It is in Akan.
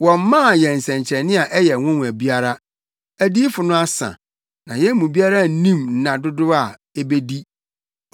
Wɔmmaa yɛn nsɛnkyerɛnne a ɛyɛ nwonwa biara; adiyifo no asa, na yɛn mu biara nnim nna dodow a ebedi.